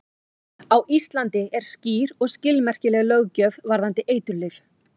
Á Íslandi er skýr og skilmerkileg löggjöf varðandi eiturlyf.